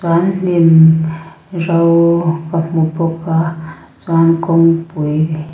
chuan hnim ro ka hmu bawk a chuan kawngpui--